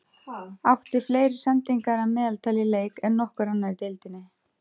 Átti fleiri sendingar að meðaltali í leik en nokkur annar í deildinni.